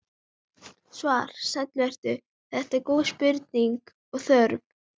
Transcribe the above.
Svar: Sæll vertu, þetta eru góð spurning og þörf.